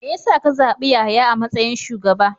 Me ya sa ka zabi Yahaya a matsayin shugaba?